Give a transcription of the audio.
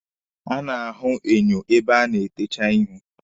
E a na-ahụ enyo ebe a na-etecha ihu.